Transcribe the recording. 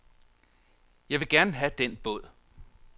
Jeg ville gerne have den båd.